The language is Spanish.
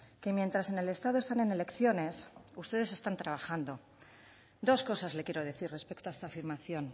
que mientras en el estado están en elecciones ustedes están trabajando dos cosas le quiero decir respecto a esta afirmación